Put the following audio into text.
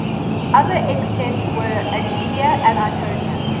other epithets were ageleia and itonia